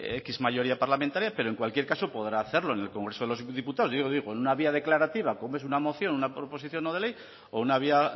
décimo mayoría parlamentaria pero en cualquier caso podrá hacerlo en el congreso de los diputados yo digo en una vía declarativa como es una moción una proposición no de ley o una vía